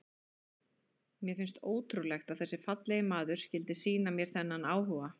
Mér fannst ótrúlegt að þessi fallegi maður skyldi sýna mér þennan áhuga.